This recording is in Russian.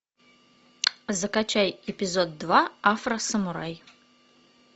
закачай эпизод два афросамурай